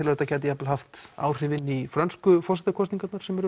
að þetta geti haft áhrif inn í frönsku kosningarnar sem eru